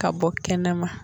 Ka bɔ kɛnɛma.